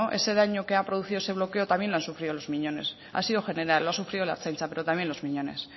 ese daño que ha producido ese bloqueo también lo han sufrido los miñones ha sido general lo ha sufrido la ertzaintza pero también los miñones